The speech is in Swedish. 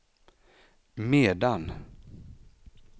medan